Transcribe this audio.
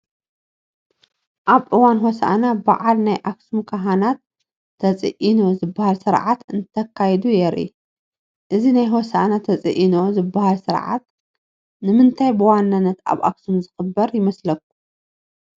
ኣብ እዋን ሆሳኢና በዓል ናይ ኣክሱም ካህናት "ተፂኢኖ" ዝባሃል ስርዓት እንተካይዱ የርኢ፡፡ እዚ ናይ ሆሳኢና ተፂኢኖ ዝባሃል ስርዓት ንምንታይ ብዋናነት ኣብ ኣክሱም ዝኽበር ይመስለኩም?